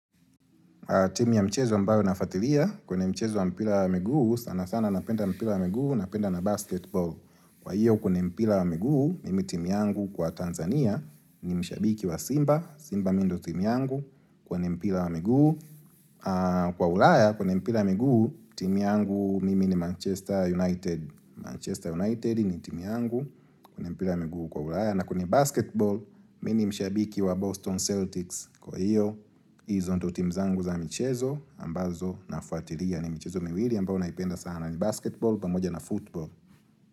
Timu ya mchezo ambayo nafuatilia, kwenye mchezo wa mpira wa miguu, sana sana napenda mpira wa miguu, napenda na basketball. Kwa hiyo, kwenye mpira wa miguu, mimi timu yangu kwa Tanzania ni mshabiki wa Simba, Simba mimi ndio timu yangu, kwenye mpira wa miguu. Kwa ulaya, kwenye mpira ya miguu, timu yangu mimi ni Manchester United. Manchester United ni timu yangu, kwenye mpira wa miguu huko ulaya. Na kwenye basketball, mimi ni mshabiki wa Boston Celtics Kwa hiyo, hizo ndizo timu zangu za michezo ambazo nafuatilia ni michezo miwili ambayo naipenda sana ni basketball pamoja na football.